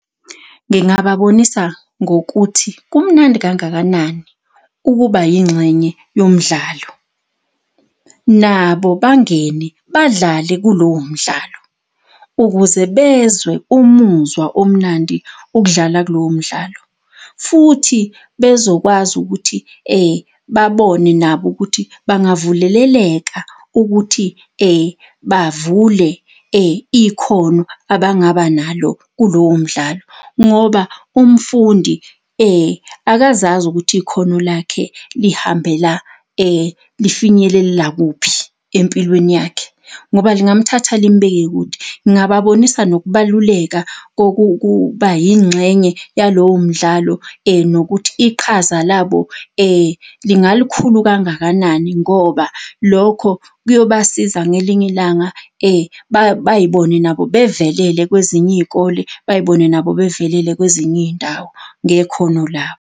Ngingababonisa ngokuthi kumnandi kangakanani ukuba yingxenye yomdlalo. Nabo bangene badlale kulowo mdlalo ukuze bezwe umuzwa omnandi ukudlala kulowo mdlalo, futhi bezokwazi ukuthi babone nabo ukuthi bangavuleleleka ukuthi bavule ikhono abangaba nalo kulowo mdlalo ngoba umfundi akazazi ukuthi ikhono lakhe lihambela lifinyelelela kuphi empilweni yakhe ngoba lingamthatha limbeke kude. Ngababonisa nokubaluleka kokuba yingxenye yalowomdlalo nokuthi iqhaza labo lingalukhulu kangakanani ngoba lokho kuyobasiza ngelinye ilanga bay'bone nabo bevelele kwezinye iy'kole bay'bone nabo bavelele kwezinye iy'ndawo ngekhono labo.